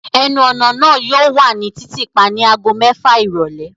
Ẹnu-ọna naa yóò wa ni titiipa ni agogo mẹfa irọlẹ